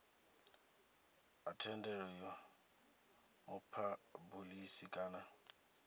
ha thendelo ya muphabulisi kana